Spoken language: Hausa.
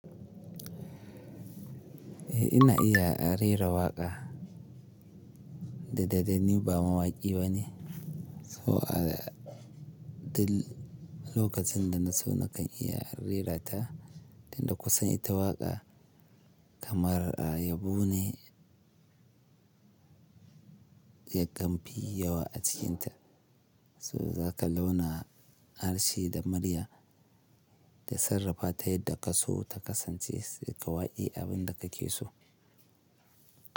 Eh ina iya rera waƙa. Da dadanni ba mawaƙi bane. So, al da lokacin da na so na kan iya rera ta. Inda kusan ita waƙa kamar a yabo ne, ya gambi yawa a cikinta. To zaka launa harshe da murya da sarrafa ta yadda ka so ta kasance, sai ƙawaye abin da ka ke so.